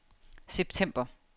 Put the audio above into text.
september